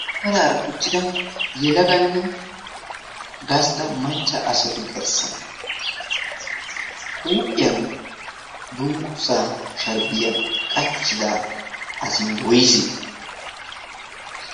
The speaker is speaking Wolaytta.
maraara uttida yelaganne gastta macca asatu gerssan huuphiyan dunggu zaa sharbbiyaa qacchida asi woise?